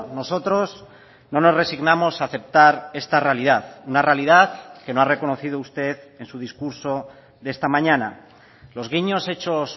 nosotros no nos resignamos a aceptar esta realidad una realidad que no ha reconocido usted en su discurso de esta mañana los guiños hechos